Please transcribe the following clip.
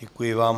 Děkuji vám.